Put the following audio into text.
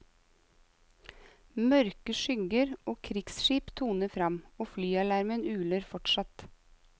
Mørke skygger av krigsskip toner fram, og flyalarmen uler fortsatt.